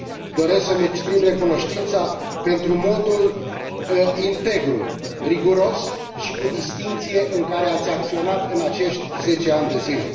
Doresc să mi exprim recunoștința pentru modul integru, riguros și cu distincție în care ați acționat în acești 10 ani de zile.